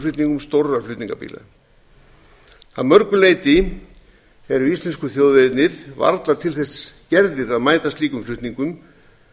vöruflutningum stórra flutningabíla að mörgu leyti eru íslensku þjóðvegirnir varla til þess gerðir að mæta slíkum flutningum